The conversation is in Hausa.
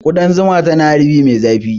Ƙudan zuma tana harbi mai zafi